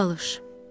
Bərqu Balış.